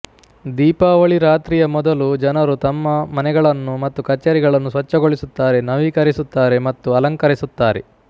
ದೀಪಾವಳಿ ರಾತ್ರಿಯ ಮೊದಲು ಜನರು ತಮ್ಮ ಮನೆಗಳನ್ನು ಮತ್ತು ಕಚೇರಿಗಳನ್ನು ಸ್ವಚ್ಛಗೊಳಿಸುತ್ತಾರೆ ನವೀಕರಿಸುತ್ತಾರೆ ಮತ್ತು ಅಲಂಕರಿಸುತ್ತಾರೆ